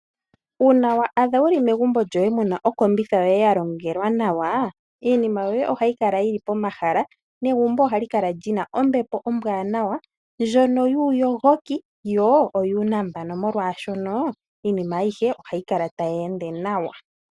Uuna wa adha wuli megumbo lyoye mu na okombitha yoye yalongelwa nawa, iinima yoye ohayi kala yili pomahala negumbo ohali kala li na ombepo ombwaanawa ndjono yuuyogoki yo oyuunambano molwaashono iinima ayihe ohayi kala tayi ende nawa.